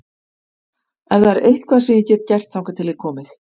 Ef það er eitthvað sem ég get gert þangað til þið komið